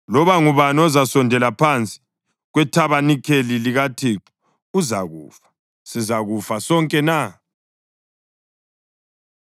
Loba ngubani ozasondela phansi kwethabanikeli likaThixo uzakufa. Sizakufa sonke na?”